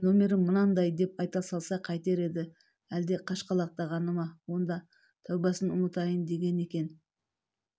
көке нөмірім мынандай деп айта салса қайтер еді әлде қашқалақтағаны ма онда тәубасын ұмытайын деген екен